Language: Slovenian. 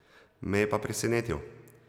Me je pa presenetil.